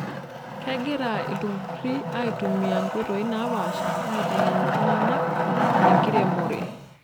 Kegira ilturruri aitumia nkoitoi naapaasha aitengen iltunganak enkiremore.